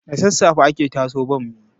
Da sasafe ake tatso bammi